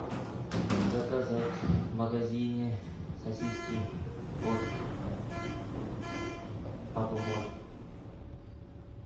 заказать в магазине сосиски от папа может